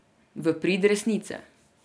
V prid resnice.